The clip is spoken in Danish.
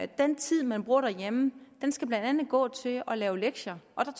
den tid man bruger derhjemme skal blandt andet gå til at lave lektier og